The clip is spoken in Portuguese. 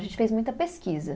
A gente fez muita pesquisa.